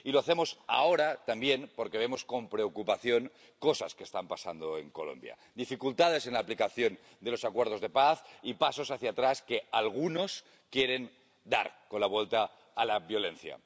y lo hacemos ahora también porque vemos con preocupación cosas que están pasando en Colombia dificultades en la aplicación de los acuerdos de paz y pasos hacia atrás que algunos quieren dar con la vuelta a la violencia.